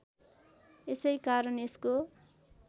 यसै कारण यसको